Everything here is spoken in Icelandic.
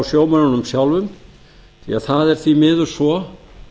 sjómönnunum sjálfum því það er því miður svo